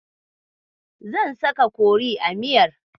Zan saka kori a miyar.